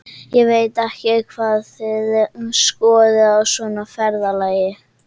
Ég veit ekki hvað þið skoðið á svona ferðalagi.